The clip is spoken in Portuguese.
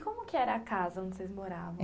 E como que era a casa onde vocês moravam?